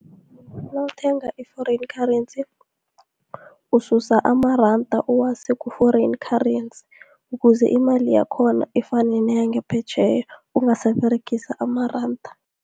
Nawuthenga i-Foreign currency, ususa amaranda uwase ku-Foreign currency, ukuze imali yakhona ifane neyangaphetjheya, ungasaberegisa amaranda.